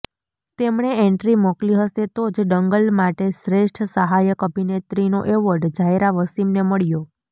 તેમણે એન્ટ્રી મોકલી હશે તો જ દંગલ માટે શ્રેષ્ઠ સહાયક અભિનેત્રીનો એવોર્ડ ઝાયરા વસિમને મળ્યો